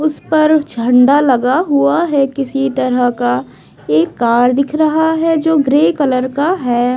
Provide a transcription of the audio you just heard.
उस पर झंडा लगा हुआ है किसी तरह का एक कार दिख रहा है जो ग्रे कलर का है।